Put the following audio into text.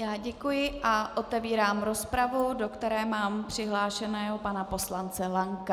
Já děkuji a otevírám rozpravu, do které mám přihlášeného pana poslance Lanka.